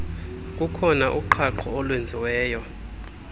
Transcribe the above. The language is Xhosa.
kukhona uqhaqho olwenziweyo